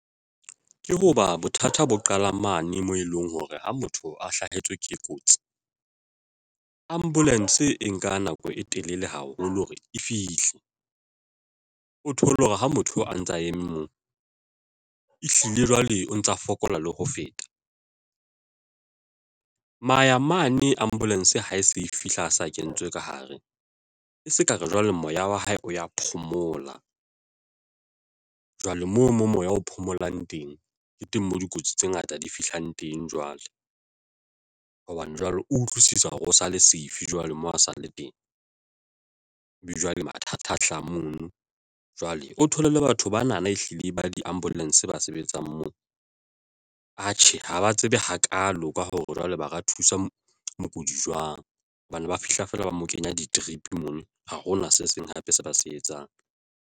Ke hoba bothata bo qala mane moo e leng hore ha motho a hlahetswe ke kotsi, ambulance e nka nako e telele haholo hore e fihle o thole hore ha motho a ntsa eme moo, ehlile jwale o ntsa fokola le ho feta maya mane ambulance ha e se e fihla a sa kentswe ka hare e se kare jwale moya wa hae o ya phomola jwale moo mo moya o phomolang teng, ke teng moo dikotsi tse ngata di fihlang teng. Jwale hobane jwale utlwisisa hore o sale safe jwale mo a sa le teng jwale mathatha hlaha mono jwale o thole le batho bana na, ehlile ba di-ambulance ba sebetsang moo atjhe ha ba tsebe hakalo ka hore jwale ba ka thusa mokudi jwang hobane ba fihla fela ba mo kenya di-drip mono ha hona se seng hape se ba se etsang.